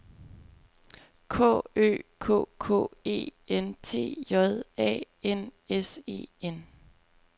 K Ø K K E N T J A N S E N